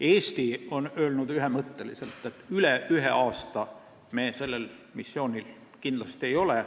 Eesti on öelnud ühemõtteliselt, et üle ühe aasta me sellel missioonil kindlasti ei ole.